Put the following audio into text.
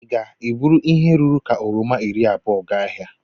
ị ga-eburu ihe ruru ka oroma iri abou gaa ahịa